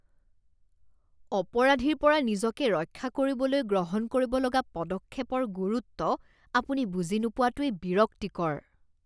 অপৰাধীৰ পৰা নিজকে ৰক্ষা কৰিবলৈ গ্ৰহণ কৰিব লগা পদক্ষেপৰ গুৰুত্ব আপুনি বুজি নোপোৱাটোৱেই বিৰক্তিকৰ।